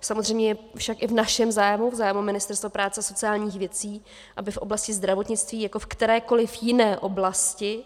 Samozřejmě je však i v našem zájmu, v zájmu Ministerstva práce a sociálních věcí, aby v oblasti zdravotnictví jako v kterékoliv jiné oblasti